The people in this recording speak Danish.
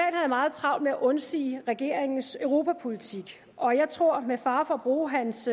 meget travlt med at undsige regeringens europapolitik og jeg tror med fare for at bruge hans